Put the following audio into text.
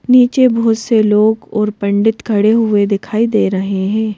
नीचे बहुत से लोग और पंडित खड़े हुए दिखाई दे रहे हैं।